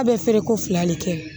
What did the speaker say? A bɛ feere ko fila de kɛ